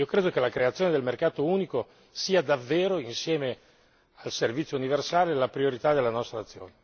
Penso che la creazione del mercato unico sia davvero, insieme al servizio universale, la priorità della nostra azione.